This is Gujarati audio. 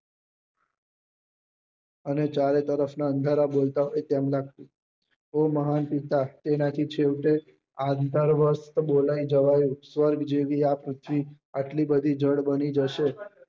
અને ચારો તરફ નાં અંધારા બોલતા તેમના હે મહાન પિતા તેના થી છેવટે આ અંધાર વાસ બોલાઈ જવાયું સ્વર્ગ જેવી આ પૃથ્વી આટલી બધી જળ બની જશે